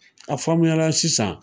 A faamuya la sisan.